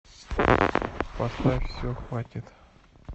поставь все хватит